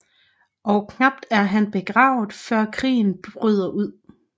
Og knapt er han begravet før krigen bryder ud